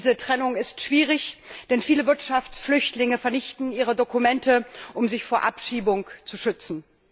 Diese Trennung ist schwierig, denn viele Wirtschaftsflüchtlinge vernichten ihre Dokumente, um sich vor Abschiebung zu schützen.